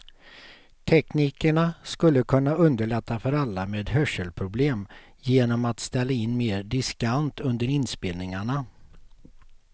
Teknikerna skulle kunna underlätta för alla med hörselproblem genom att ställa in mer diskant under inspelningarna.